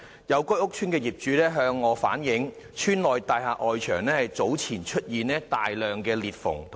有該屋邨的業主向本人反映，邨內大廈外牆早前出現大量裂縫。